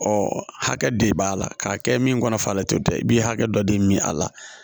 hakɛ de b'a la k'a kɛ min kɔnɔ falen o tɛ i b'i hakɛ dɔ de min a la